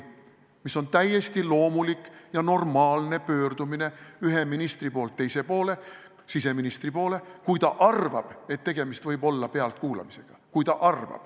See on täiesti loomulik ja normaalne pöördumine, üks minister pöördub teise poole, siseministri poole, kui ta arvab, et tegemist võib olla pealtkuulamisega.